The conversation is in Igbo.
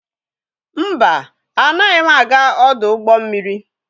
Mba, anaghị aga ọdụ ụgbọ mmiri.